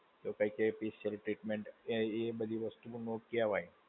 તો કઈંક એ special treatment, કે એ બધી વસ્તુ માં હોય